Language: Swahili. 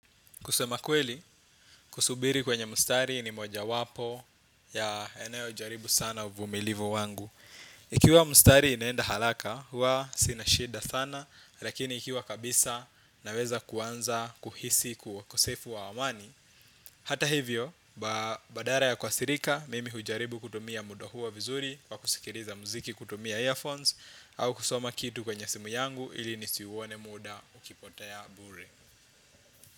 Kusema kweli, kusubiri kwenye mustari ni moja wapo ya eneo jaribu sana uvumilivu wangu. Ikiwa mustari inenda haraka, huwa sina shida sana, lakini ikiwa kabisa naweza kuanza kuhisi ukusefu wa amani. Hata hivyo, badala ya kukasirika, mimi hujaribu kutumia muda huo vizuri, kwa kusikiliza muziki kutumia earphones, au kusoma kitu kwenye simu yangu ili nisiuone muda ukipotea bure.